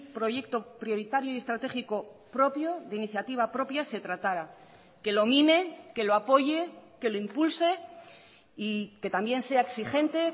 proyecto prioritario y estratégico propio de iniciativa propia se tratara que lo mime que lo apoye que lo impulse y que también sea exigente